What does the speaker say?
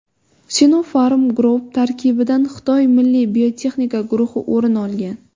Sinopharm Group tarkibidan Xitoy milliy biotexnika guruhi o‘rin olgan.